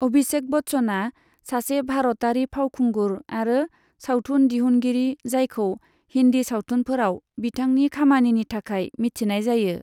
अभिषेक बच्चना सासे भारतारि फावखुंगुर आरो सावथुन दिहुनगिरि जायखौ हिन्दी सावथुनफोराव बिथांनि खामानिनि थाखाय मिथिनाय जायो।